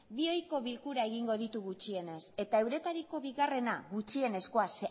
bi ohiko bilkura egingo ditu gutxienez eta euretariko bigarrena gutxienezkoa zeren